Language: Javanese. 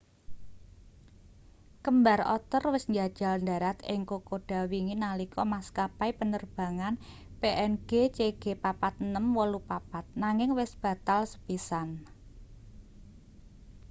kembar otter wis njajal ndharat ing kokoda wingi nalika maskapai penerbangan png cg4684 nanging wis batal sepisan